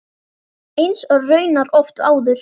Eins og raunar oft áður.